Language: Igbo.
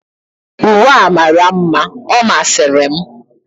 uwe a mara mma, ọ masịrị m.